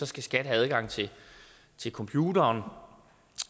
skal skat have adgang til til computeren